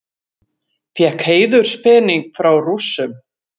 Fékk heiðurspening frá Rússum